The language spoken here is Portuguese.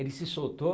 Ele se soltou.